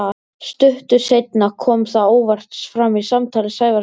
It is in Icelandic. Stuttu seinna kom það óvart fram í samtali Sævars við